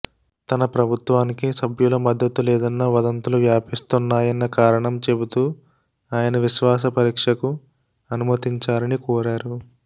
తన ప్రభుత్వానికి సభ్యుల మద్దతు లేదన్న వదంతులు వ్యాపిస్తున్నాయన్న కారణం చెబుతూ ఆయన విశ్వాస పరీక్షకు అనుమతించాలని కోరారు